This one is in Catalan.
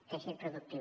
teixit productiu